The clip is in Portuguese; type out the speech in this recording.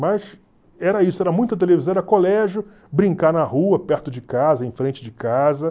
Mas era isso, era muita televisão, era colégio, brincar na rua, perto de casa, em frente de casa.